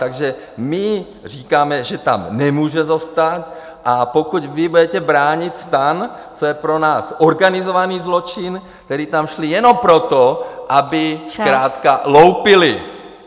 Takže my říkáme, že tam nemůže zůstat, a pokud vy budete bránit STAN, co je pro nás organizovaný zločin, kteří tam šli jenom proto, aby... ... zkrátka loupili...